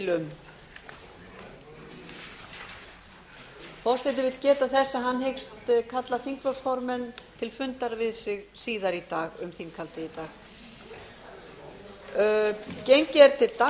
forseti vill geta þess að hann hyggst kalla þingflokksformenn til fundar við sig síðar í dag um þinghaldið í dag